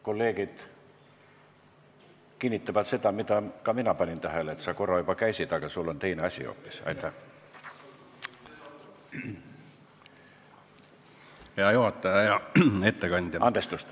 Kolleegid kinnitavad seda, mida ka mina panin tähele, et sa korra juba käisid puldis, aga nüüd sul on hoopis teine asi.